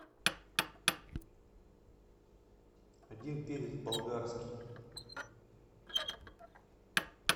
один перец болгарский